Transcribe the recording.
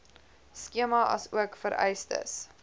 skema asook vereistes